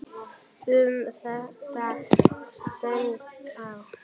Um þetta söng ég: